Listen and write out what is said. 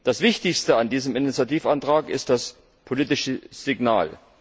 Das Wichtigste an diesem Initiativbericht ist das politische Signal.